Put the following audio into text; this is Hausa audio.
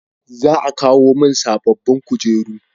Za a kawo mun sabobbin kujeru